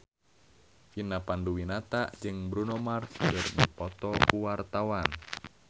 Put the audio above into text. Vina Panduwinata jeung Bruno Mars keur dipoto ku wartawan